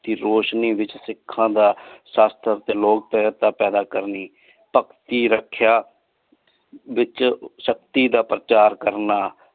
ਰੋਸ਼ਨੀ ਵਿਚ ਸਿਖਾਂ ਦਾ ਸਾਸਤ ਤੇ ਲੋਗ ਫਿਰਦਾ ਪੈਦਾ ਕਰਨੀ ਲਾਏ ਕੀ ਰਖ੍ਯਾ ਵਿਚ ਸ਼ਕਤੀ ਦਾ ਪਰਚਾਰ ਕਰਨਾ।